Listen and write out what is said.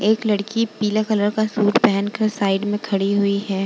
एक लड़की पीले कलर का सूट पेहेन कर साइड में खड़ी हुई है।